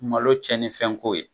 Malo tiɲɛnifɛnko ye